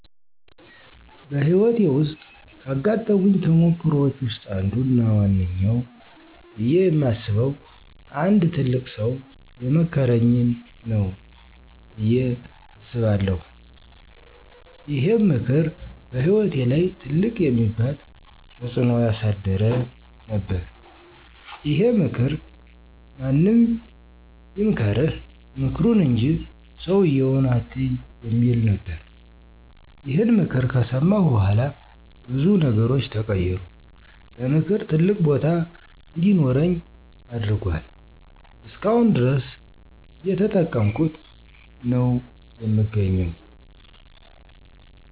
በህይወቴ ውስጥ ካጋጠሙኝ ተሞክሮወች ውስጥ አንዱ እና ዋነኛው ብየ የማስበው አንድ ትልቅ ሠው የመከረኝ ነው በየ አስባለሁ። ይሄም ምክር በህይወቴ ላይ ትልቅ የሚባል ተጽዕኖ ያሳደረ ነበረ። ይሄም ምክር ማንም ይምከርህ ምክሩን እንጂ ሠውየውን አትይ የሚል ነበረ። ይሄን ምክር ከሠማሁ በኋላ ብዙ ነገሮች ተቀየሩ። ለምክር ትልቅ ቦታ እንዲኖረኝ አድርጎአል። እስከአሁን ድረስ እየተጠቀምኩት ነው የምገኘው።